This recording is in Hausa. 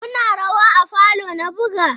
Kuna rawa a falo na buga?